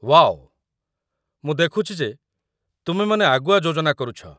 Wow, ମୁଁ ଦେଖୁଛି ଯେ ତୁମେମାନେ ଆଗୁଆ ଯୋଜନା କରୁଛ ।